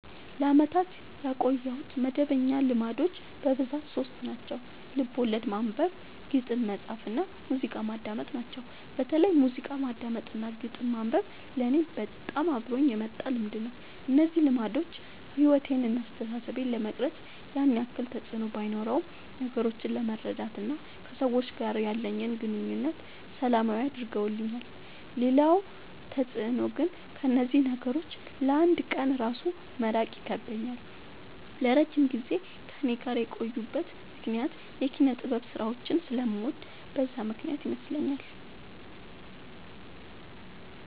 ለአመታት ያቆየሁት መደበኛ ልማዶች በብዛት ሶስት ናቸው። ልቦለድ ማንበብ፣ ግጥም መፃፍ እና ሙዚቃ ማዳመጥ ናቸው። በተለይ ሙዚቃ ማዳመጥ እና ግጥም ማንበብ ለኔ በጣም አብሮኝ የመጣ ልምድ ነው። እነዚህ ልማዶች ሕይወቴን ወይም አስተሳሰቤን ለመቅረጽ ያን ያክል ተፅዕኖ ባኖረውም ነገሮችን ለመረዳት እና ከሰዎች ጋር ያለኝን ግንኙነት ሰላማዊ አድርገውልኛል ሌላው ተፅዕኖ ግን ከእነዚህ ነገሮች ለ አንድ ቀን እራሱ መራቅ ይከብደኛል። ለረጅም ጊዜ ከእኔ ጋር የቆዩበት ምክንያት የኪነጥበብ ስራዎችን ስለምወድ በዛ ምክንያት ይመስለኛል።